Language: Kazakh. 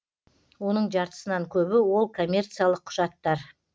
оның жартысынан көбі ол коммерциялық құжаттар